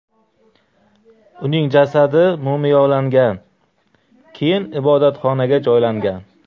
Uning jasadi mumiyolangan, keyin ibodatxonaga joylangan.